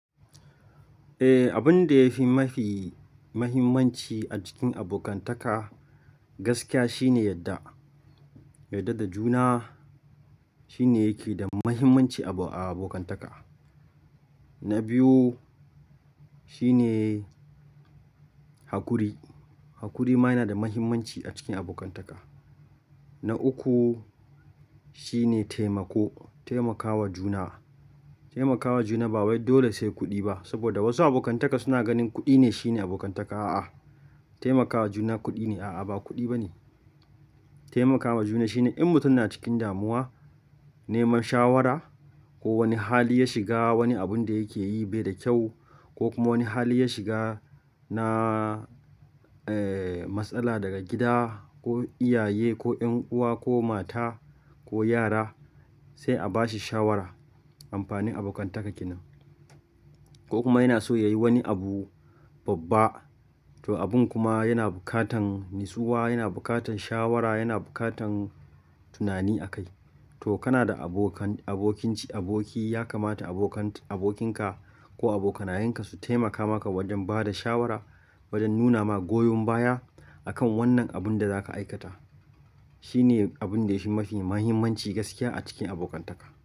Eh, abun da yafi mafi mahimmanci a cikin abokantaka gaskiya shi ne yadda, yadda da juna shi ne yake da mahimmanci a abokantaka. Na biyu shine hakuri. Hakuri ma yana da mahimmanci a cikin abokantaka. Na uku shi ne taimako, taimakawa juna. Taimakawa juna ba wai dole sai kuɗi ba saboda wasu abokantaka suna ganin kuɗi ne shi ne abokantaka. A'a, taimakawa juna kuɗi ne. A'a, ba kuɗi ba ne. Taimakawa juna shi ne in mutum na cikin damuwa, neman shawara ko wani hali ya shiga wani abun da yake yi bai da kyau ko kuma wani hali ya shiga na, eh, matsala daga gida ko iyaye ko ƴan uwa ko mata ko yara sai a bashi shawara. Amfanin abokantaka kenan. Ko kuma yana so yayi wani abu babba to abun kuma yana bukatan natsuwa, yana bukatan shawara, yana bukatan tunani a kai. To kana da abokan, abokinci, aboki ya kamata abokan, abokinka ko abokanayenka su taimaka maka wajen ba da shawara wajen nuna ma goyon baya akan wannan abun da zaka aikata. Shi ne abun da yafi mafi mahimmanci gaskiya a cikin abokantaka.